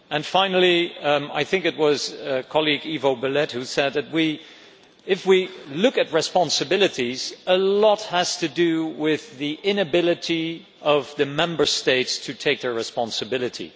Finally, I think it was my colleague Ivo Belet who said that, if we look at responsibilities, a lot has to do with the inability of the Member States to take their responsibility.